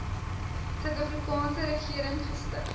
suidafrikaanse regering gestig